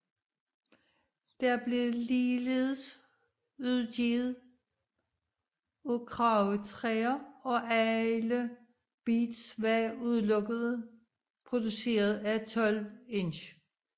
Den blev ligeledes udgivet af Kragetæer og alle beats var udelukkende produceret af 12Inch